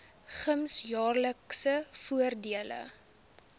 gems jaarlikse voordele